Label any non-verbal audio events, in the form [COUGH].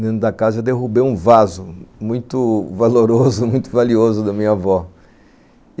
dentro da casa, derrubei um vaso muito valoroso, [LAUGHS] muito valioso da minha avó.